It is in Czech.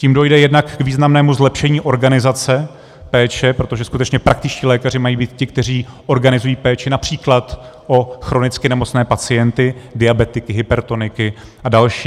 Tím dojde jednak k významnému zlepšení organizace péče, protože skutečně praktičtí lékaři mají být ti, kteří organizují péči například o chronicky nemocné pacienty - diabetiky, hypertoniky a další.